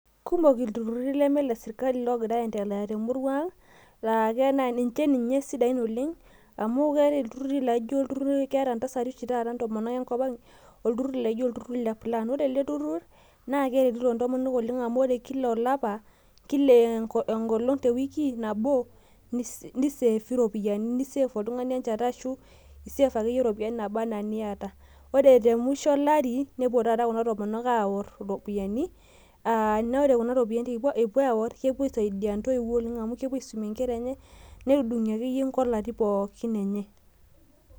kumok itururi leme ile sirikali loo ngira ayendelea tenkopang', laa niche ninye isidain oleng', amu ore iltururi amu keeta oshi taata intasati enkopang' olturur lepulaan , naa keretito intomonok oleng' amu ore kila engolong' nabo te wiki ni save enchata ashu iropiyiani ake niyata ore temusho olari nepuo taata kuna tomonok aawuor kuna ropiyiani , naa kisaidia oleng' amu kepuo aisumie inkera enye nepuo aadung'ie inkolati enye.